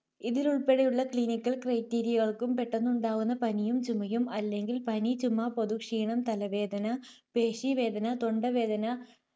ഇതിലുൾപ്പെടുന്ന Clinical criteria യക്കും പെട്ടെന്നുണ്ടാകുന്ന പനിയും ചുമയും അല്ലെങ്കിൽ പനി, ചുമ, പൊതുക്ഷീണം, തലവേദന, പേശീവേദന, തൊണ്ടവേദന,